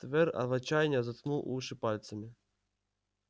твер в отчаянии заткнул уши пальцами